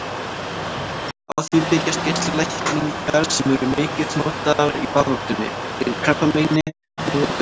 Á því byggjast geislalækningar sem eru mikið notaðar í baráttunni gegn krabbameini nú á dögum.